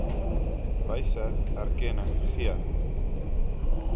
wyse erkenning gee